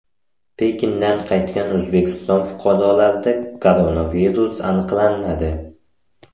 Pekindan qaytgan O‘zbekiston fuqarolarida koronavirus aniqlanmadi.